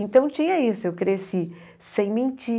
Então tinha isso, eu cresci sem mentir.